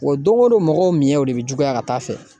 Wa don o don mɔgɔw miɲɛw de bɛ juguya ka t'a fɛ